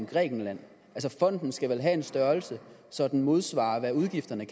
grækenland fonden skal vel have en størrelse så den modsvarer hvad udgifterne